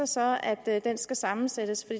sig at den skal sammensættes